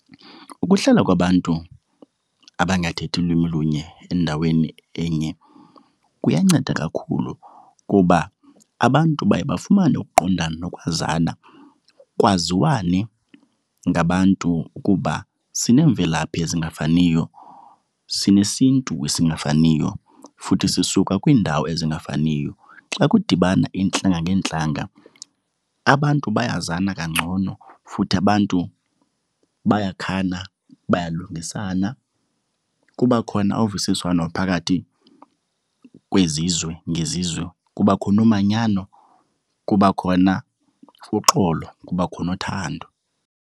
Ukuhlala kwabantu abangathethi lwimi lunye endaweni enye kuyanceda kakhulu kuba abantu baye bafumane ukuqondana nokwazana. Kwaziwane ngabantu ukuba sineemvelaphi ezingafaniyo, sinesiNtu esingafaniyo futhi sisuka kwiindawo ezingafaniyo. Xa kudibana iintlanga ngeentlanga abantu bayazana kangcono futhi abantu bayakhana, bayalungisana. Kuba khona uvisiswano phakathi kwezizwe ngezizwe, kubakho nomanyano, kuba khona uxolo, kuba khona uthando.